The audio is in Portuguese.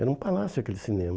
Era um palácio aquele cinema.